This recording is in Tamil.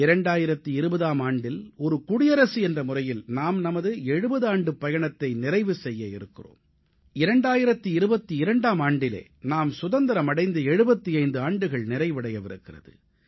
2020ஆம் ஆண்டில் ஒரு குடியரசு நாடு என்ற முறையில் நாம் நமது 70 ஆண்டுப் பயணத்தை நிறைவு செய்ய இருக்கிறோம் 2022ஆம் ஆண்டிலே நாம் சுதந்திரம் அடைந்து 75 ஆண்டுகள் நிறைவடையவிருக்கிறது